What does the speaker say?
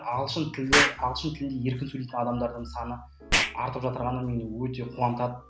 ағылшын тілі ағылшын тілінде еркін сөйлейтін адамдардың саны артып жатырғаны мені өте қуантады